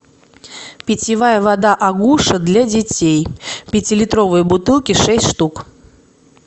питьевая вода агуша для детей пятилитровые бутылки шесть штук